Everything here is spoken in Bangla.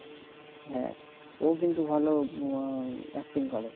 হ্যাঁ ও কিন্তু ভাল acting করে